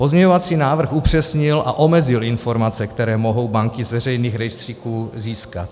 Pozměňovací návrh upřesnil a omezil informace, které mohou banky z veřejných rejstříků získat.